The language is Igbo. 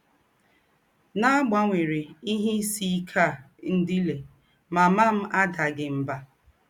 N’àgbanwérè ìhè ìsì íké à ńdílé, màmà m àdàghị mbà.